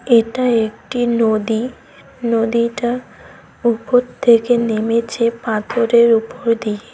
এটা একটি নদী নদীটা উপর থেকে নেমেছে পাথরের উপর দিয়ে।